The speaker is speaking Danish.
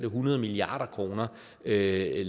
hundrede milliard kroner lavere